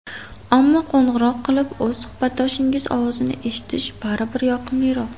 Ammo, qo‘ng‘iroq qilib, o‘z suhbatdoshingiz ovozini eshitish baribir yoqimliroq.